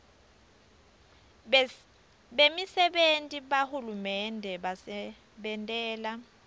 bemisebenti yahulumende basebentela